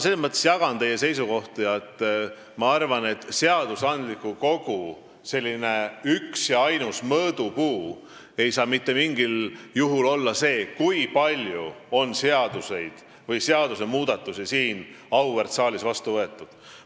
Selles mõttes jagan teie seisukohti, et minu arvates seadusandliku kogu üks ja ainus mõõdupuu ei saa mitte mingil juhul olla see, kui palju on seaduseid või seadusmuudatusi siin auväärt saalis vastu võetud.